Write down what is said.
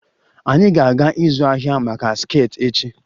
Anyị ga-aga ịzụ ahịa maka skirts echi